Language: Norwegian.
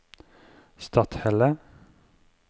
Stathelle